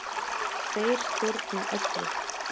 Þeir stjórna öllu.